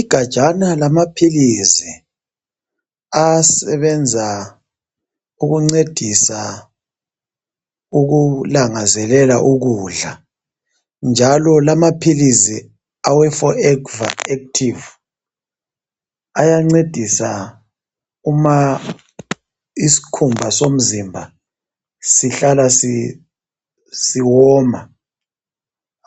igajana lamaphilisi asebenza ukuncedisa ukulangazelela ukudla njalo lamaphilisi awe forever active ayancedisa uma isikhumba somzimba sihlala siwoma